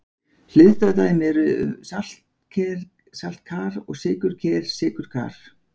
Hliðstæð dæmi eru saltker-saltkar og sykurker-sykurkar.